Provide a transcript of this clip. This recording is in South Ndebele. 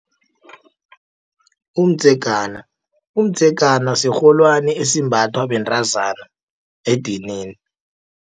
Umdzegana, umdzegana sirholwani esimbathwa bentazana edinini.